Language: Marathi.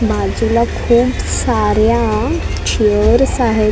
बाजूला खूप साऱ्या चेअर्स आहेत .